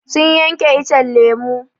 Sun yanke icen lemu.